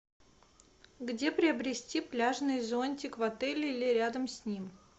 где приобрести пляжный зонтик в отеле или рядом с ним